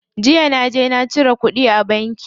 Jiya naje na cire kuɗi a banki.